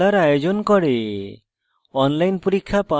কর্মশালার আয়োজন করে